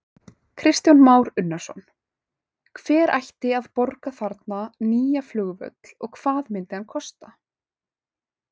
Kristján Már Unnarsson: Hver ætti að borga þarna nýja flugvöll og hvað myndi hann kosta?